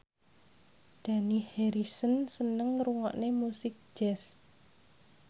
Dani Harrison seneng ngrungokne musik jazz